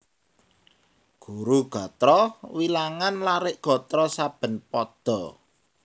Guru gatra wilangan larik gatra saben pada